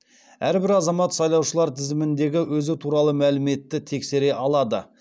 әрбір азамат сайлаушылар тізіміндегі өзі туралы мәліметті тексере алады